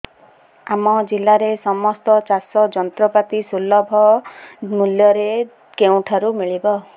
ଆମ ଜିଲ୍ଲାରେ ସମସ୍ତ ଚାଷ ଯନ୍ତ୍ରପାତି ସୁଲଭ ମୁଲ୍ଯରେ କେଉଁଠାରୁ ମିଳିବ